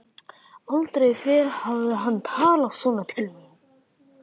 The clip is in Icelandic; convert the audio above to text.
Aldrei fyrr hafði hann talað svona til mín.